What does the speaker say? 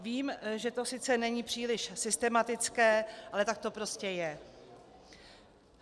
Vím, že to sice není příliš systematické, ale tak to prostě je.